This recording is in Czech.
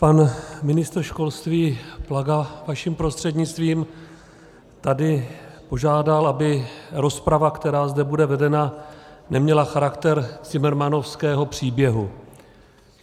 Pan ministr školství Plaga vaším prostřednictvím tady požádal, aby rozprava, která zde bude vedena, neměla charakter cimrmanovského příběhu.